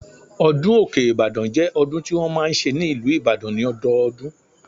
Ọdún Òkè Ìbàdàn jẹ́ ọdún tí wọ́n máa ń ṣe ní ìlú Ìbàdàn ní ọdọọdún